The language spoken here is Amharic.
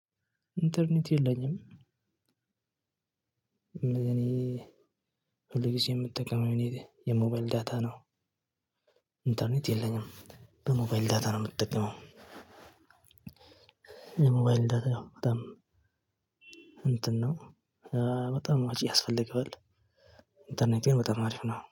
ኢንተርኔት የለኝም። እኔ ሁል ጊዜ የምትጠቀመው የሞባይል ዳታ ነው። ኢንተርኔት የለኝም በሞባይል ዳታ ነው የምጠቀመው። ሞባይል ዳታም በጣም እንትን ነው። በጣም ወጪ ያስፈልገዋል። ኢንተርኔት በጣም አሪፍ ነው